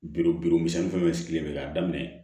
Biro biri misɛn fɛn bɛ sigilen bɛ k'a daminɛ